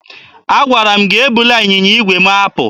Agwara m gị ebula ịnyịnya igwe m apụ!